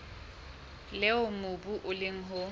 leo mobu o leng ho